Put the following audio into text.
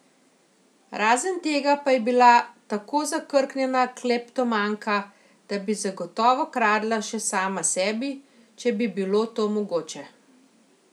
Razen tega pa je bila tako zakrknjena kleptomanka, da bi zagotovo kradla še sama sebi, če bi bilo to mogoče.